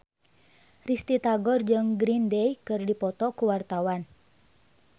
Risty Tagor jeung Green Day keur dipoto ku wartawan